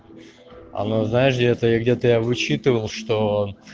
оно знаешь где это я где-то я вычитывал что